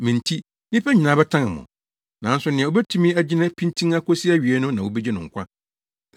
Me nti, nnipa nyinaa bɛtan mo. Nanso nea obetumi agyina pintinn akosi awiei no na wobegye no nkwa.